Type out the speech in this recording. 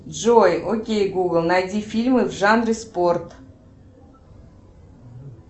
джой окей гугл найди фильмы в жанре спорт